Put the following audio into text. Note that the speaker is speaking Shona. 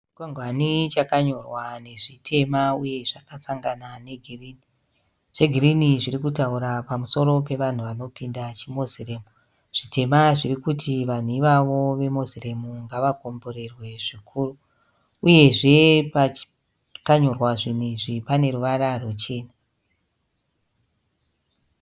Chikwangwane chakanyorwa nezvitema uye zvakasangana negirinhi. Zvegirinhi zvirikutaura pamusoro pevanhu vanopinda chimoziremu. Zvitema zvirikutaura kuti vanhu avavo vemoziremu ngavakomborerwe zvikuru. Uyezve pakanyorwa zvinhu izvi pane ruvara rwuchena.